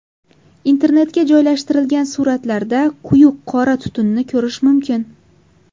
Internetga joylashtirilgan suratlarda quyuq qora tutunni ko‘rish mumkin.